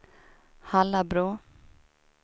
Hallabro